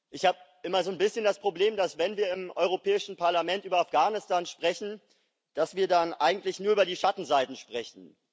Ich habe immer so ein bisschen das Problem, dass wir, wenn wir im Europäischen Parlament über Afghanistan sprechen, dann eigentlich nur über die Schattenseiten sprechen.